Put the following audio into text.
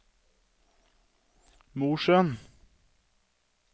Mosjøen